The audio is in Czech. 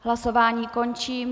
Hlasování končím.